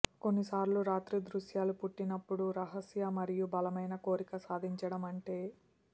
కొన్నిసార్లు రాత్రి దృశ్యాలు పుట్టినప్పుడు రహస్య మరియు బలమైన కోరిక సాధించడం అంటే